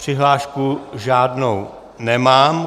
Přihlášku žádnou nemám.